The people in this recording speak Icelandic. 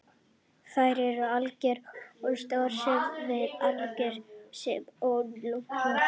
Þær eru algengastar á stöðum sem verða fyrir álagi svo sem á olnbogum og hnjám.